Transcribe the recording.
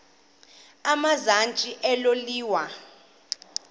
emazantsi elo liwa